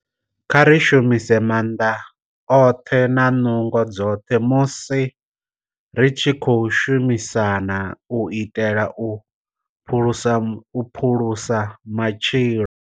Kha ri shumise maanḓa oṱhe na nungo dzoṱhe musi ri tshi khou shumisana u itela u phulusa matshilo.